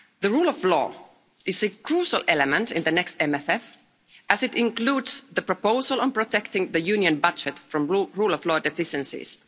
Rule of law is a crucial element in the next MFF as it includes the proposal on protecting the Union budget from rule of law deficiencies.